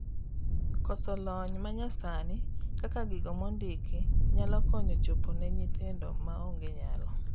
k0oso lonya manyasani kaka gigo mondiki nyalo konnyo chopo ne nyithindo maonge nyalo